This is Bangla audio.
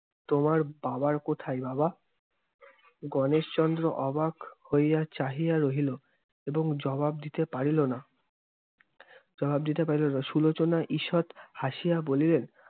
তোমার বাবার কোথায়, বাবা? গণেশচন্দ্র অবাক হইয়া চাহিয়া রহিল এবং জবাব দিতে পারিল না- জবাব দিতে পারিল না। সুলোচনা ঈষৎ হাসিয়া বলিলেন,